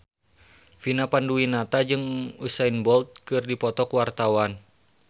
Vina Panduwinata jeung Usain Bolt keur dipoto ku wartawan